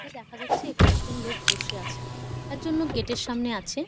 এখানে দেখা যাচ্ছে কয়েকজন লোক বসে আছে একজন লোক গেট -র সামনে আছে।